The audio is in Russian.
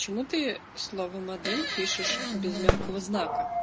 чему ты слово модель пишешь без мягкого знака